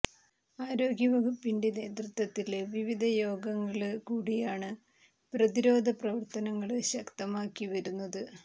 ആരോഗ്യ വകുപ്പിന്റെ നേതൃത്വത്തില് വിവിധ യോഗങ്ങല് കൂടിയാണ് പ്രതിരോധ പ്രവര്ത്തനങ്ങള് ശക്തമാക്കി വരുന്നത്